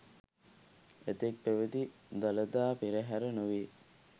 එතෙක් පැවැති දළදා පෙරහර නොවේ.